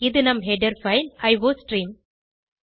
இது நம் header file iostream